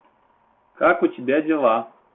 как у тебя дела